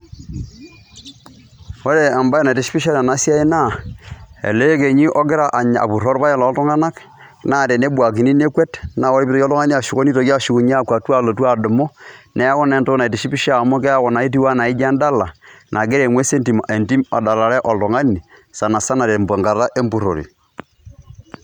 Ore embae naitishipisho tene wuei naa ele ekenyi ogira apuroo irpaek lootung'anak naa tenebuakini nekwet naa ore piitoki oltung'ani ashuko nitoki ashukunye alotu adumu. Neeku naa entoki naitishipisho amu keeku naa itiu naa iti endala nagira eng'ues entim adalare oltung'ani sana sana tenkata empurore.